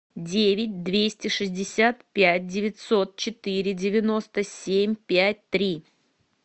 девять двести шестьдесят пять девятьсот четыре девяносто семь пять три